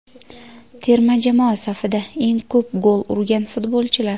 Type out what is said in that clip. Terma jamoa safida eng ko‘p gol urgan futbolchilar.